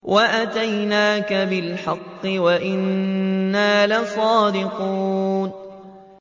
وَأَتَيْنَاكَ بِالْحَقِّ وَإِنَّا لَصَادِقُونَ